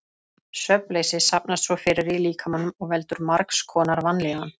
Svefnleysi safnast svo fyrir í líkamanum og veldur margs konar vanlíðan.